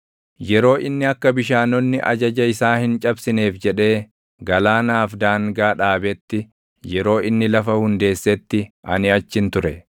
yeroo inni akka bishaanonni ajaja isaa hin cabsineef jedhee, galaanaaf daangaa dhaabetti, yeroo inni lafa hundeessetti ani achin ture.